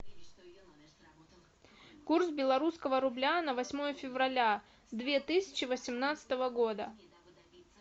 курс белорусского рубля на восьмое февраля две тысячи восемнадцатого года